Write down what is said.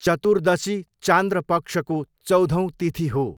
चतुर्दशी चान्द्र पक्षको चौधौँ तिथि हो।